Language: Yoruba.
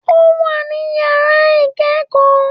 Ó wà ní yàrá ikẹ́kọ̀ọ́